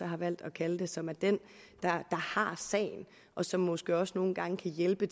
har valgt at kalde det som er den der har sagen og som måske også nogle gange kan hjælpe